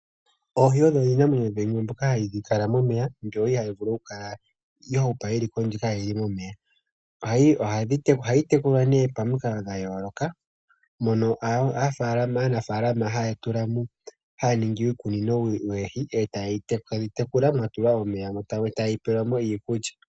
Oohi odho iinamwenyo yimwe mbyono hayi kala momeya, mbyono ihaayi vulu okukala ya hupa yi li kondje kaayi li momeya. Ohayi tekulwa pamikalo dha yooloka, mono aanafaalama haya ningi uukunino woohi e taya dhi tekula mwa tulwa omeya dho tadhi pelwa mo iikulya.